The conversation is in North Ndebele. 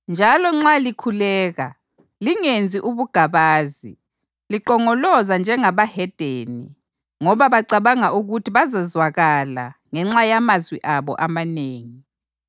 Njalo nxa likhuleka lingenzi ubugabazi, linqongoloza njengabahedeni ngoba bacabanga ukuthi bazezwakala ngenxa yamazwi abo amanengi.